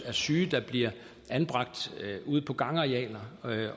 er syge der bliver anbragt ude på gangarealer